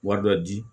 Wari dɔ di